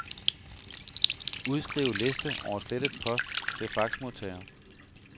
Udskriv liste over slettet post til faxmodtager.